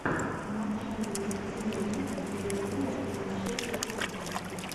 матч английской премьер лиги ливерпуля и манчестер сити